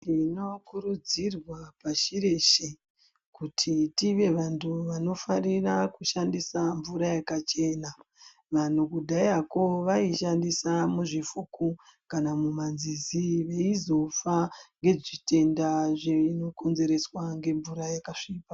Munokurudziridza pashi reshe kuti tive wandu wanofarira kushandisa mvura yakachena, wanhu kudhayako waishandisa muzvifuku kana muma nzizi dzeizofa nezvi tenda zveikonzereswa ngemvura yakasvipa.